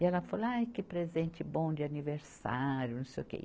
E ela falou, ai, que presente bom de aniversário, não sei o quê. e